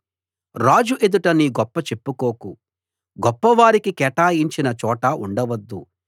రాజు ఎదుట నీ గొప్ప చెప్పుకోకు గొప్పవారికి కేటాయించిన చోట ఉండవద్దు